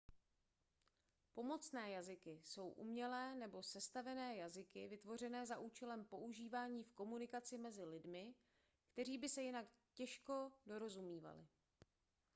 pomocné jazyky jsou umělé nebo sestavené jazyky vytvořené za účelem používání v komunikaci mezi lidmi kteří by se jinak dorozumívali jen těžko